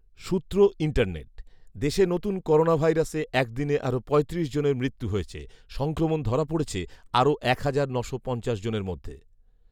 সূত্র ইন্টারনেট। দেশে নতুন করোনাভাইরাসে এক দিনে আরও পঁয়ত্রিশ জনের মৃত্যু হয়েছে, সংক্রমণ ধরা পড়েছে আরও এক হাজার নশো পঞ্চাশ জনের মধ্যে